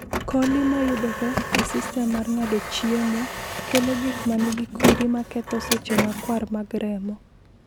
coli ma yudore e sistem mar ng’ado chiemo, kelo gik ma nigi kwiri ma ketho seche makwar mag remo.